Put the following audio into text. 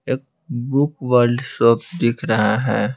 एक book world shop दिख रहा है।